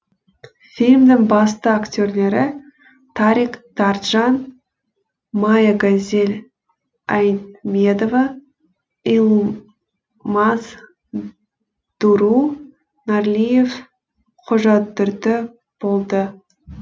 фильмнің басты актерлері тарик тарджан мая гозель айдмедова йылмаз дуру нарлиев қожадүрді болды